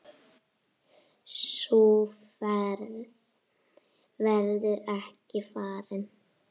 Sú ferð verður ekki farin.